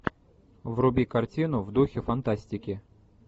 вруби картину в духе фантастики